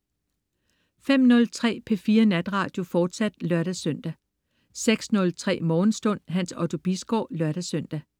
05.03 P4 Natradio, fortsat (lør-søn) 06.03 Morgenstund. Hans Otto Bisgaard (lør-søn)